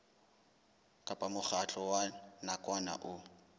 kapa mokgatlo wa nakwana o